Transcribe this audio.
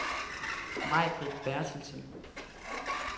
Maibritt Bertelsen